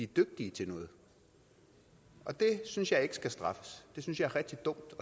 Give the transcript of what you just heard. dygtige til noget og det synes jeg ikke skal straffes det synes jeg er rigtig dumt